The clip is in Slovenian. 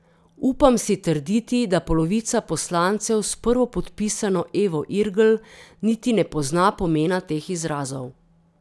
Upam si trditi, da polovica poslancev s prvopodpisano Evo Irgl niti ne pozna pomena teh izrazov.